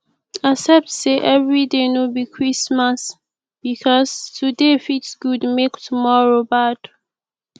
accept sey evri day no bi christmas bikos today fit gud mek tomoro bad